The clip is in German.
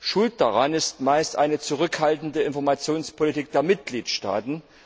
Schuld daran ist meist eine zurückhaltende Informationspolitik der Mitgliedstaaten.